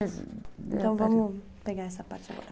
Então vamos pegar essa parte agora.